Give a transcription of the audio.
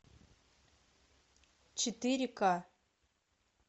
четыре ка